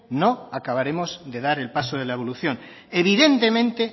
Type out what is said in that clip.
no acabaremos de dar el paso de la evolución evidentemente